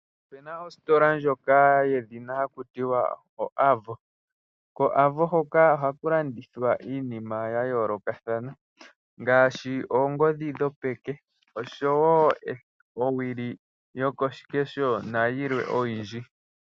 Okuna ositola ndjono hakutiwa o Avo. Ko Avo ohaku landithwa iinima yayoolokathana ngaashi, oongodhi dhopeke, oowili dhokoshikeho, nayilwe oyindji.